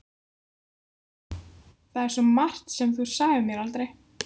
Það er svo margt sem þú sagðir mér aldrei.